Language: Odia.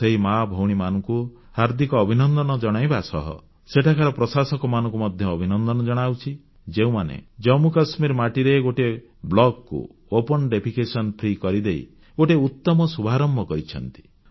ମୁଁ ସେହି ମାଭଉଣୀମାନଙ୍କୁ ହାର୍ଦ୍ଦିକ ଅଭିନନ୍ଦନ ଜଣାଇବା ସହ ସେଠାକାର ପ୍ରଶସକମାନଙ୍କୁ ମଧ୍ୟ ଅଭିନନ୍ଦନ ଜଣାଉଛି ଯେଉଁମାନେ ଜାମ୍ମୁ କାଶ୍ମୀର ମାଟିରେ ଗୋଟିଏ ବ୍ଲକକୁ ଓପନ୍ ଡିଫାକେସନ ଫ୍ରି କରିଦେଇ ଗୋଟିଏ ଉତ୍ତମ ଶୁଭାରମ୍ଭ କରିଛନ୍ତି